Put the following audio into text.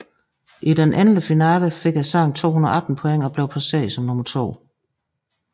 I den endelige finale fik sangen 218 point og blev placeret som nummer 2